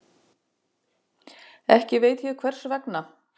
Ekki veit ég hvers vegna.